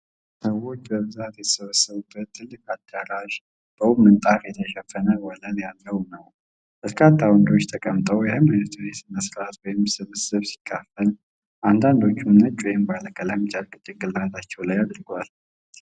ሰዎች በብዛት የተሰበሰቡበት ትልቅ አዳራሽ፣ በውብ ምንጣፍ የተሸፈነ ወለል ያለው ነው። በርካታ ወንዶች ተቀምጠው የሃይማኖታዊ ስነስርዓት ወይም ስብሰባ ሲካፈል፣ አንዳንዶቹም ነጭ ወይም ባለቀለም ጨርቅ ጭንቅላታቸው ላይ አድርገዋል።